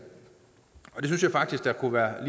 synes jeg faktisk kunne være